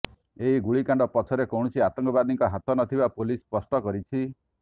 ଏହି ଗୁଳିକାଣ୍ଡ ପଛରେ କୌଣସି ଆତଙ୍କବାଦୀଙ୍କ ହାତ ନ ଥିବା ପୁଲିସ ସ୍ପଷ୍ଟ କରିଛି